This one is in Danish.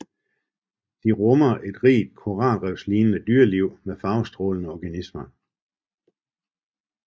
De rummer et rigt koralrevslignende dyreliv med farvestrålende organismer